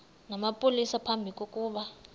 namapolisa phambi kokuba